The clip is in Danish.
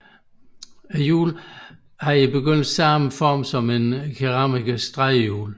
Hjulene havde i begyndelsen samme form som en keramikers drejehjul